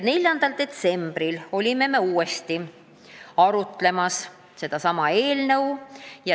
4. detsembril arutlesime uuesti sellesama eelnõu üle.